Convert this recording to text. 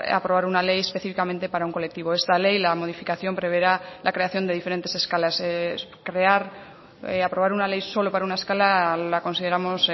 aprobar una ley específicamente para un colectivo esta ley la modificación preverá la creación de diferentes escalas crear aprobar una ley solo para una escala la consideramos